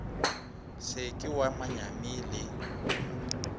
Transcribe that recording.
se ke wa manyami le